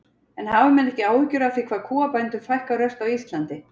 En hafa menn ekki áhyggjur af því hvað kúabændum fækkar ört á Íslandi?